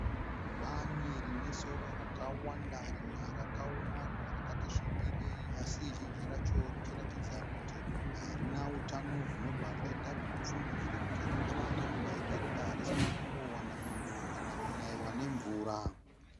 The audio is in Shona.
Bani rinesora rakawanda , rimwe rakaoma, rimwe rakatisvibirei, asi zhinji racho richiratidza kuti harina utano, zvinobva zvaita kuti ufungidzire kuti rakava nenguva yakareba risina kumbowana mwando kana kunaiwa nemvura.